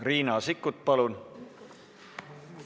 Riina Sikkut, palun!